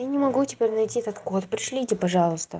я не могу теперь найти этот код пришлите пожалуйста